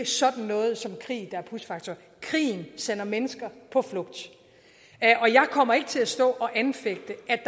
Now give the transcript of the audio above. sådan noget som krig der er push factor krigen sender mennesker på flugt og jeg kommer ikke til at stå og anfægte at